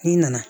N'i nana